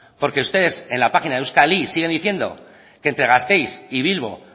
porque ustedes en la página euskalit siguen diciendo que entre gasteiz y bilbo